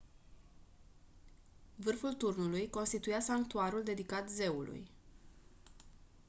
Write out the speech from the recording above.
vârful turnului constituia sanctuarul dedicat zeului